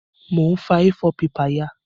Mo n fa A4 paper ya